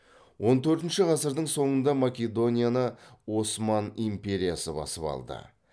он төртінші ғасырдың соңында македонияны осман империясы басып алды